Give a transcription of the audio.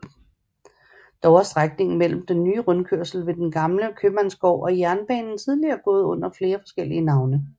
Dog har strækningen mellem den nye rundkørsel ved den gamle købmandsgård og jernbanen tidligere gået under flere forskellige navne